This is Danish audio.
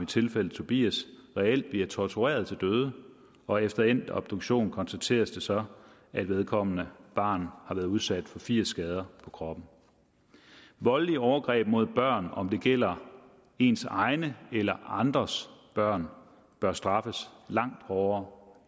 tilfælde tobias reelt bliver tortureret til døde og efter endt obduktion konstateres det så at vedkommende barn har været udsat for firs skader på kroppen voldelige overgreb mod børn om det gælder ens egne eller andres børn bør straffes langt hårdere